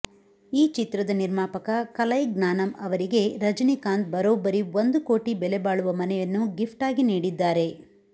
ಈ ಚಿತ್ರದ ನಿರ್ಮಾಪಕ ಕಲೈಗ್ನಾನಮ್ ಅವರಿಗೆ ರಜನಿಕಾಂತ್ ಬರೋಬ್ಬರಿ ಒಂದು ಕೋಟಿ ಬೆಲೆಬಾಳುವ ಮನೆಯನ್ನು ಗಿಫ್ಟಾಗಿ ನೀಡಿದ್ದಾರೆ